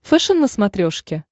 фэшен на смотрешке